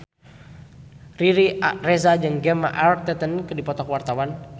Riri Reza jeung Gemma Arterton keur dipoto ku wartawan